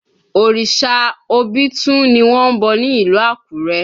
Òrìṣà obitun ni wọ́n ń bọ̀ ní ìlú Àkúrẹ́